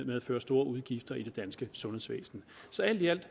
medføre store udgifter i det danske sundhedsvæsen så alt i alt